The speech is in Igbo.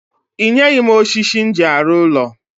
I nyeghi m oshishi m ji aru ulo